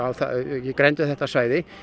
í grennd við þetta svæði